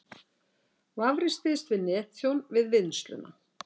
Vafrinn styðst við netþjón við vinnsluna